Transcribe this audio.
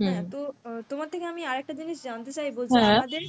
হ্যাঁ তো তোমার থেকে আমি আর একটা জিনিস জানতে চাইব যে আমাদের